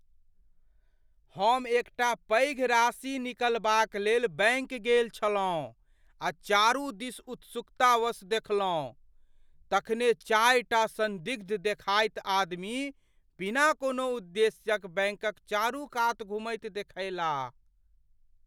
हम एकटा पैघ राशि निकालबाक लेल बैंक गेल छलहुँ आ चारू दिस उत्सुकतावश देखलहुँ, तखने चारिटा सन्दिग्ध देखाइत आदमी बिना कोनो उद्देश्यक बैंकक चारूकात घुमैत देखयलाह।